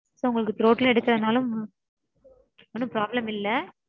sir உங்களுக்கு throat ல எடுக்கறதுனாலும் ஒன்னும் problem இல்ல